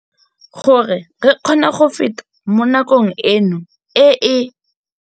Gore re kgone go feta mo nakong eno e e.